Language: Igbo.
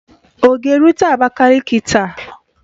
Ọ ga-erute Abakaliki taa?